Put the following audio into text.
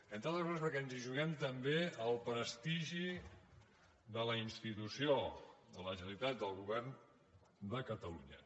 entre altres coses perquè ens hi juguem també el prestigi de la institució de la generalitat del govern de catalunya